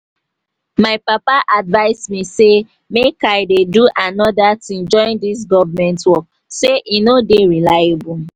my papa advise me say make i dey do another thing join dis government work say e no dey reliable